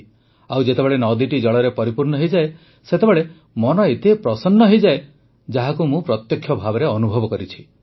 ଆଉ ଯେତେବେଳେ ନଦୀଟି ଜଳରେ ପରିପୂର୍ଣ୍ଣ ହୋଇଯାଏ ସେତେବେଳେ ମନ ଏତେ ପ୍ରସନ୍ନ ହୋଇଯାଏ ଯାହାକୁ ମୁଁ ପ୍ରତ୍ୟକ୍ଷ ଭାବେ ଅନୁଭବ କରିଛି